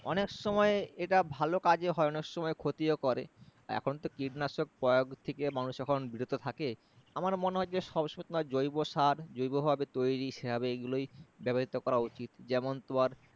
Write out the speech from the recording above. অনেক সময় এটা ভালো কাজে হয় অনেক সময় ক্ষতি ও করে এখন তো কীটনাশক প্রয়াগ থেকে মানুষ এখন বিরত থাকে আমার মনেহয় যে সব তোমার জৈব সার জৈব ভাবে তৈরী সে ভাবে এগুলোই ব্যবহৃত করা উচিত যেমন তোমার